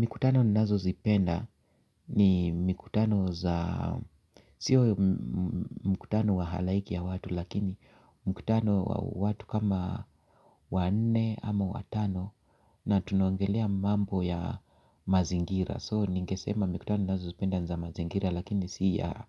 Mikutano nnazo zipenda ni mikutano za, siyo mkutano wa halaiki ya watu lakini mkutano wa watu kama wanne ama watano na tunoangelea mambo ya mazingira So ningesema mikutano nazo zipenda za mazingira lakini si ya